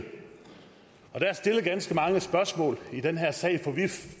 der er stillet ganske mange spørgsmål i den her sag for vi